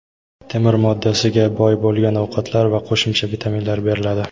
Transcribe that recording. temir moddasiga boy bo‘lgan ovqatlar va qo‘shimcha vitaminlar beriladi.